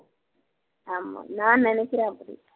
ஆமா நான் நினைக்கிறேன் அப்படி